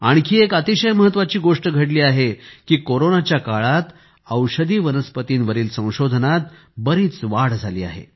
आणखी एक अतिशय महत्त्वाची गोष्ट घडली आहे की कोरोनाच्या काळात औषधी वनस्पतींवरील संशोधनात बरीच वाढ झाली आहे